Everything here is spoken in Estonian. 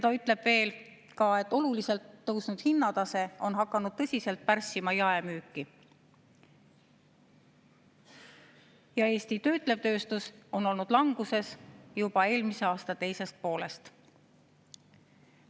Ta ütleb veel seda, et oluliselt tõusnud hinnatase on hakanud tõsiselt pärssima jaemüüki ja Eesti töötlev tööstus on olnud languses juba eelmise aasta teisest poolest.